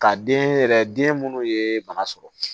Ka den yɛrɛ den minnu ye bana sɔrɔ